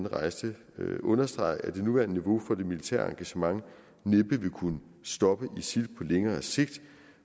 rejste understrege at det nuværende niveau for det militære engagement næppe vil kunne stoppe isil på længere sigt